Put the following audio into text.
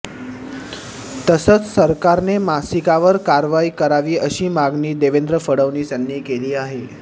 तसंच सरकारने मासिकावर कारवाई करावी अशी मागणी देवेंद्र फडणवीस यांनी केली आहे